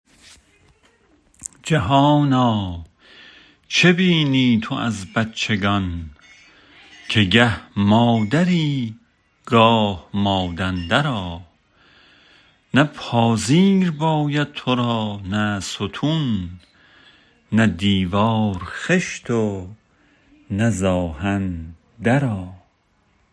جهانا چه بینی تو از بچگان که گه مادری گاه مادندرا نه پاذیر باید تو را نه ستون نه دیوار خشت و نه زآهن درا